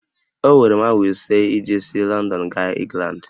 Owere m awa ise iji si Lọndọn gaa Ịngland